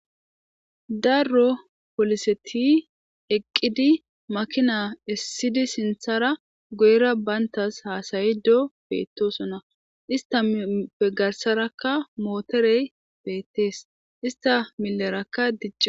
Daro polisseti eqidi makina esidi sinthara guyera bantas hasayido bettesona istappe garsarakka motorey beettes ista milerakka